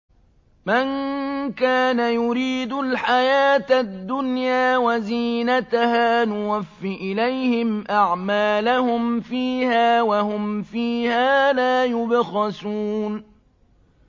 مَن كَانَ يُرِيدُ الْحَيَاةَ الدُّنْيَا وَزِينَتَهَا نُوَفِّ إِلَيْهِمْ أَعْمَالَهُمْ فِيهَا وَهُمْ فِيهَا لَا يُبْخَسُونَ